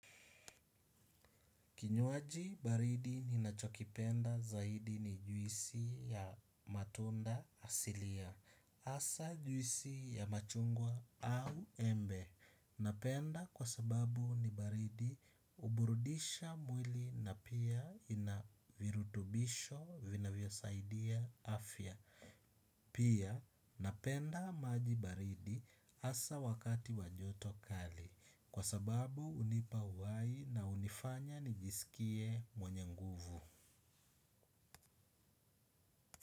Kinywaji baridi ni nachokipenda zaidi ni juisi ya matunda asilia. Asa juisi ya machungwa au embe. Napenda kwa sababu ni baridi uburudisha mwili na pia inavirutubisho vinavyo saidia afya. Pia napenda maji baridi hasa wakati wa joto kali. Kwa sababu unipa uhai na unifanya nijisikie mwenye nguvu.